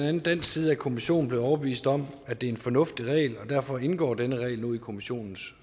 andet dansk side er kommissionen blevet overbevist om at det er en fornuftig regel og derfor indgår denne regel nu i kommissionens